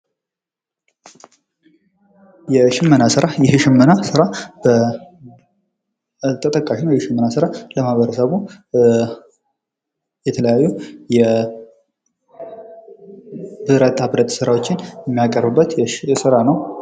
የሽመና ስራ ፦ ይህ የሽመና ስራ ተጠቃሽ ነው ። የሽመና ስራ ለማህበረሰቡ የተለያዩ የብረታ ብረት ስራዎችን የሚያቀርብበት ስራ ነው ።